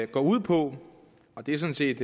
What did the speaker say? går ud på det er sådan set